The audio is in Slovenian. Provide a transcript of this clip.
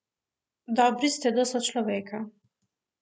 Dobri ste do sočloveka.